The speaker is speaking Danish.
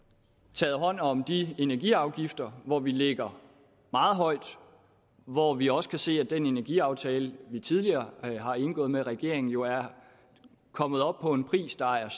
taget hånd om de energiafgifter hvor vi ligger meget højt og hvor vi også kan se at den energiaftale vi tidligere har indgået med regeringen jo er kommet op på en pris der er